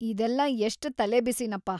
ಇದೆಲ್ಲ ಎಷ್ಟ್‌ ತಲೆಬಿಸಿನಪ್ಪಾ.